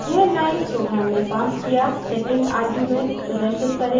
यह line program में passed किया 2nd argument प्रदर्शित करेगा